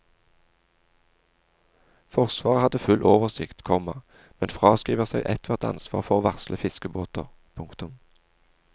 Forsvaret hadde full oversikt, komma men fraskriver seg ethvert ansvar for å varsle fiskebåter. punktum